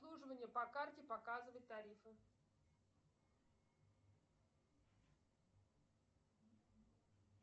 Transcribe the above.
обслуживание по карте показывать тарифы